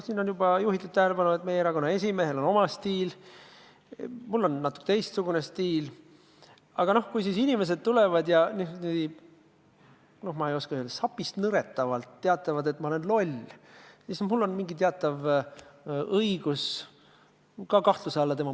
Siin on juba juhitud tähelepanu sellele, et meie erakonna esimehel on oma stiil, minul on natuke teistsugune stiil, aga kui inimesed tulevad ja nad – no ma ei oska öelda – sapist nõretades teatavad, et ma olen loll, siis mul on teatav õigus ka nende motiivid kahtluse alla seada.